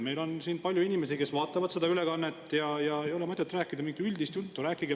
Meil on palju inimesi, kes vaatavad seda ülekannet, ja ei ole mõtet rääkida mingit üldist juttu.